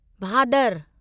Bhadar